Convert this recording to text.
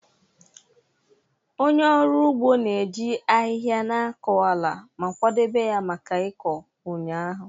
Onye ọrụ ugbo na-eji ahịhịa na-akọ ala ma kwadebe ya maka ịkọ ụnyaahụ.